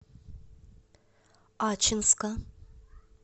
ачинска